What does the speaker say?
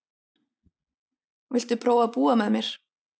Viltu prófa að búa með mér.